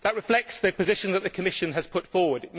That reflects the position that the Commission has put forward.